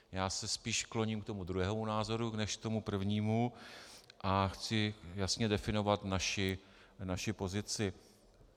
Já se spíš kloním k tomu druhému názoru než k tomu prvnímu a chci jasně definovat naši pozici.